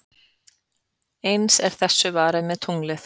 Eins er þessu varið með tunglið.